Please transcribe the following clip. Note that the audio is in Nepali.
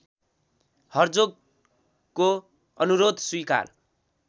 हर्जोगको अनुरोध स्वीकार